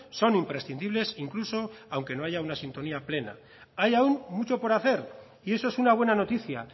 son imprescindibles incluso aunque no haya una sintonía plena hay aún mucho por hacer y eso es una buena noticia